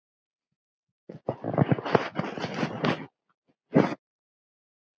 Skammt frá dundar